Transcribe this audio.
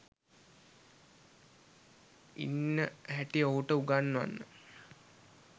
ඉන්න හැටි ඔහුට උගන්වන්න.